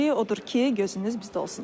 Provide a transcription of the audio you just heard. Odur ki, gözünüz bizdə olsun.